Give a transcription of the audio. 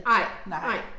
Nej, nej